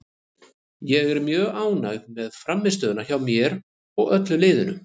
Ég er mjög ánægð með frammistöðuna hjá mér og öllu liðinu.